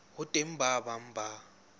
ho teng ba bang ba